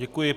Děkuji.